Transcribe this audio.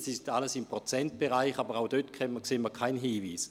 Das liegt alles im Prozentbereich, aber auch dort sehen wir keinen Hinweis.